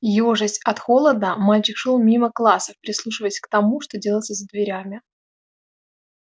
ёжась от холода мальчик шёл мимо классов прислушиваясь к тому что делается за дверями